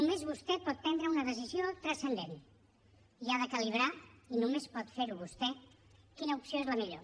només vostè pot prendre una decisió transcendent i ha de calibrar i només pot fer ho vostè quina opció és la millor